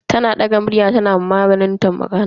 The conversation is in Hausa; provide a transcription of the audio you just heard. Tana daga murya tana ma malamin ta magana.